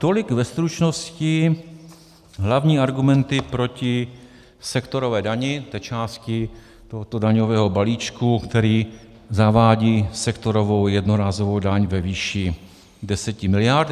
Tolik ve stručnosti hlavní argumenty proti sektorové části, té části tohoto daňového balíčku, který zavádí sektorovou jednorázovou daň ve výši 10 miliard.